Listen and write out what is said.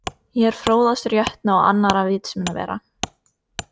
Ég er fróðastur jötna og annarra vitsmunavera.